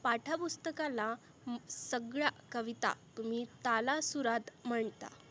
पाठ पुस्तकाला म सगळ्या कविता तुम्ही ताला सुरात म्हणता.